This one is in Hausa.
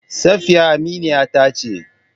Safiya aminiya ta ce.